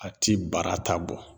A ti bara ta bɔ